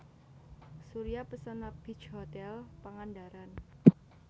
Surya Pesona Beach Hotel Pangandaran